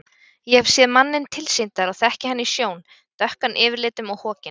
Ég hef séð manninn tilsýndar og þekki hann í sjón, dökkan yfirlitum og hokinn.